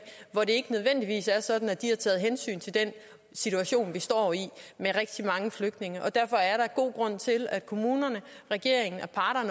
hvor det ikke nødvendigvis er sådan at de har taget hensyn til den situation vi står i med rigtig mange flygtninge og derfor er der god grund til at kommunerne regeringen